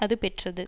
அது பெற்றது